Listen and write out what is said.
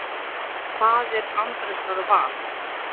Faðir Andrésar var